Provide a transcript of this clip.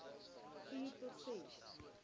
vier tot ses